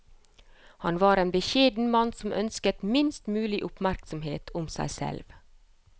Han var en beskjeden mann som ønsket minst mulig oppmerksomhet om seg selv.